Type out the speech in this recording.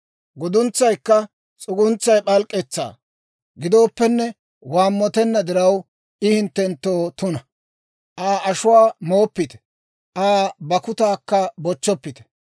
Guduntsaykka s'uguntsay p'alk'k'etsaa gidooppenne waammotenna diraw, I hinttenttoo tuna. Aa ashuwaa mooppite; Aa bakkutaakka bochchoppite.